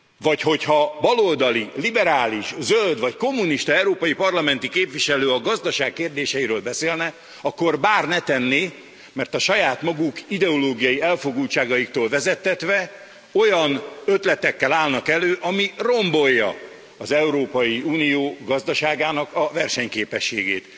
Vagy ha baloldali, liberális, zöld vagy kommunista európai parlamenti képviselő a gazdaság kérdéseiről beszélne, akkor bár ne tenné, mert a saját maguk ideológiai elfogultságaitól vezettetve olyan ötletekkel állnak elő, ami rombolja az Európai Unió gazdaságának a versenyképességét.